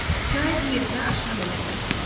Çay bu yerdə aşırım əmələ gətirmişdi.